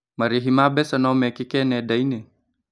Marĩhi ma mbeca no mekĩke nenda-inĩ?